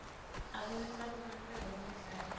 abonisa kubaluleka kwemidlalo